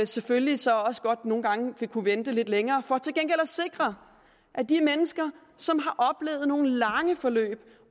selvfølgelig så også godt nogle gange vil kunne vente lidt længere for til gengæld at sikre at de mennesker som har oplevet nogle lange forløb